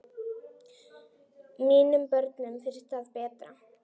Mínum börnum finnst það betra.